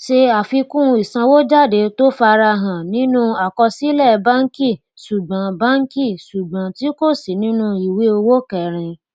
ṣe àfikún ìsanwójáde tó farahàn nínú àkọsílẹ bánkì sùgbọn bánkì sùgbọn tí kò sí nínú ìwé owó kẹrin